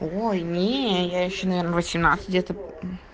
ой нее я ещё наверное восемнадцать где то